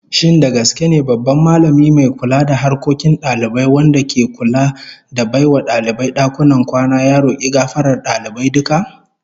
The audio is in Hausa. Shin da gaske ne babban Mallami mai kula da harkokin dalibai wanda ke kula da bai wa dalibai dakunan kwana, ya roki gafarar dalibai duka?